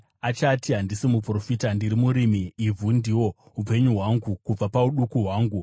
Achati, ‘Handisi muprofita. Ndiri murimi; ivhu ndiwo upenyu hwangu kubva pauduku hwangu.’